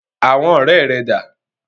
Àwọn ọ̀rẹ́ rẹ̀ dà?